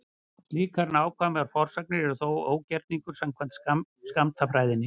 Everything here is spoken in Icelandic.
Slíkar nákvæmar forsagnir eru því ógerningur samkvæmt skammtafræðinni.